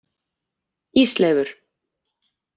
Ísleifur